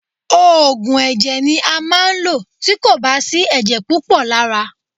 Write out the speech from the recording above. Òògùn ẹ̀jẹ̀ ni a máa ń lò tí kò bá sí ẹ̀jẹ̀ púpọ̀ lára.